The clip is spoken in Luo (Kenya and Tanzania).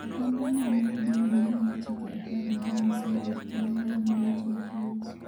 Ogandano mar dini ma miyo chike apar mag Nyasaye luor kendo ma lando weche mag Yesu.